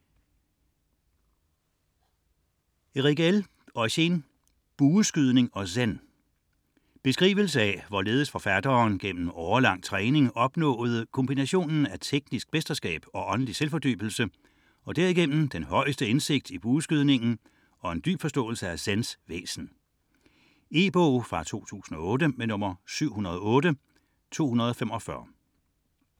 29.43 Herrigel, Eugen: Bueskydning og Zen Beskrivelse af hvorledes forfatteren gennem årelang træning opnåede kombinationen af teknisk mesterskab og åndelig selvfordybelse og derigennem den højeste indsigt i bueskydningen og en dyb forståelse af Zens væsen. E-bog 708245 2008.